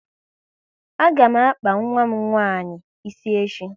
A ga m akpa nwa m nwaanyị ịsị echi